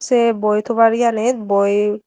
se boi thobar iyanit boi.